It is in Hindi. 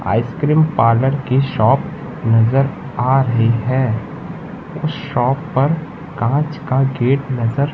आइस्क्रीम पार्लर की शॉप नजर आ रही है उस शॉप पर कांच का गेट नजर--